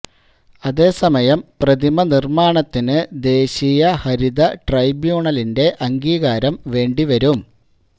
അതേസമയം പ്രതിമ നിര്മ്മാണത്തിന് ദേശീയ ഹരിത ട്രൈബ്യൂണലിന്റെ അംഗീകാരം വേണ്ടി വരും